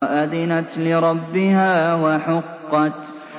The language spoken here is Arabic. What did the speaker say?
وَأَذِنَتْ لِرَبِّهَا وَحُقَّتْ